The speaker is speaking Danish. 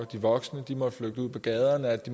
de voksne måtte flytte ud på gaderne